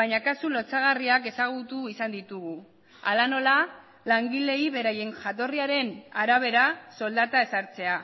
baina kasu lotsagarriak ezagutu izan ditugu hala nola langileei beraien jatorriaren arabera soldata ezartzea